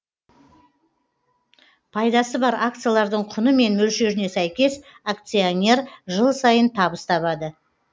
пайдасы бар акциялардың құны мен мөлшеріне сәйкес акционер жыл сайын табыс табады